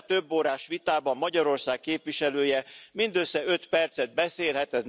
Ebben a több órás vitában Magyarország képviselője mindössze öt percet beszélhet.